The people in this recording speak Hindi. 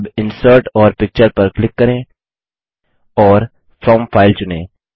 अब इंसर्ट और पिक्चर पर क्लिक करें और फ्रॉम फाइल चुनें